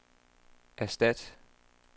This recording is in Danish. erstat